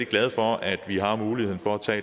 glad for at vi har muligheden for at tage